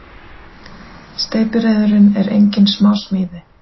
Steypireyðurin er engin smásmíði.